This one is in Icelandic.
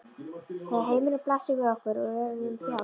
Þegar heimurinn blasir við okkur og við verðum frjáls.